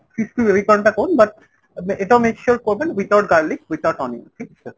crispy baby corn টা করুন but এটাও make sure করবেন without garlic without onion ঠিক আছে ?